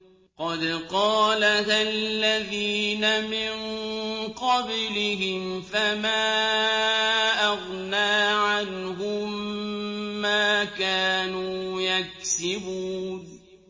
قَدْ قَالَهَا الَّذِينَ مِن قَبْلِهِمْ فَمَا أَغْنَىٰ عَنْهُم مَّا كَانُوا يَكْسِبُونَ